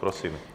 Prosím.